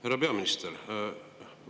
Härra peaminister!